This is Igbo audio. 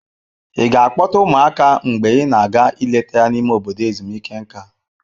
Ị ga-akpọta ụmụaka mgbe ị na-aga ileta ya n'ime obodo ezumike nká?